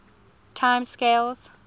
time scales